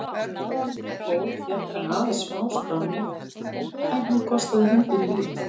Sem betur fór fékk hann aðeins smáskrámu en hún kostaði hundinn lífið.